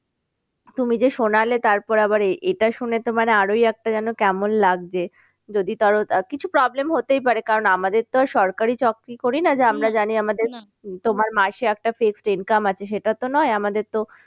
তুমি যে শোনালে তারপরে আবার এটা শুনে তো মানে আরোই একটা যেন কেমন লাগছে। যদি কিছু problem হতেই পারে কারণ আমাদের তো আর সরকারি চাকরি করি না যে জানি আমাদের তোমার মাসে একটা fresh income আছে সেটা তো নয় আমাদের তো